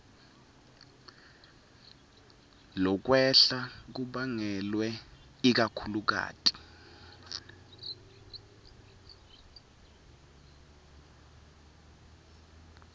lokwehla kubangelwe ikakhulukati